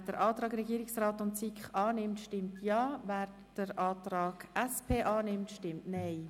Wer den Antrag Regierungsrat/SiK annimmt, stimmt Ja, wer den Antrag SP-JUSO-PSA annimmt, stimmt Nein.